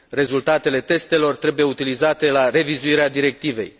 Rezultatele testelor trebuie utilizate la revizuirea Directivei.